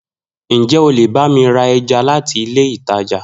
Njẹ o lè bá mi ra ẹja láti ilé ìtajà?